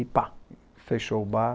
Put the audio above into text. E pá, fechou o bar.